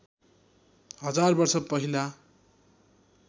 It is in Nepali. हजार वर्ष पहिला